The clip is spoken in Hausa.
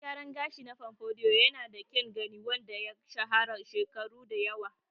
Salon gyaran gashi na pompadour yanada kyan gani wanda ya shahara shekaru da yawa.